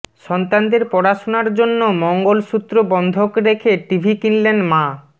সন্তানদের পড়াশুনার জন্য মঙ্গল সূত্র বন্ধক রেখে টিভি কিনলেন মা